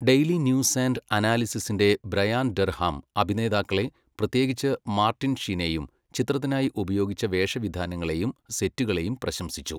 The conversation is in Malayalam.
ഡെയ്ലി ന്യൂസ് ആൻഡ് അനാലിസിസിൻ്റെ ബ്രയാൻ ഡർഹാം അഭിനേതാക്കളെ, പ്രത്യേകിച്ച് മാർട്ടിൻ ഷീനെയും ചിത്രത്തിനായി ഉപയോഗിച്ച വേഷവിധാനങ്ങളെയും സെറ്റുകളെയും പ്രശംസിച്ചു.